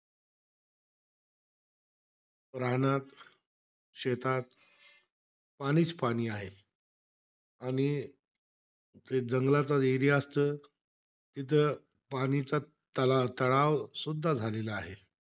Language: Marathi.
रानात, शेतात पाणीचं पाणी आहे. आणि ते जंगलाचा area असतं तिथं पाणीचं तला तळाव सुद्धा झालेला आहे.